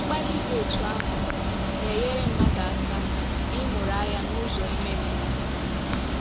Mkpali dị otú ahụ, na - enyere mmadụ aka ịmụrụ anya n’ụzọ ime mmụọ.